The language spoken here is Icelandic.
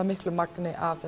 mikla magni af